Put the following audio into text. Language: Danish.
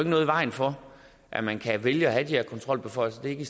noget i vejen for at man kan vælge at have de her kontrolbeføjelser det